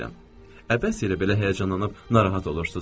Əbəs yerə belə həyəcanlanıb narahat olursunuz.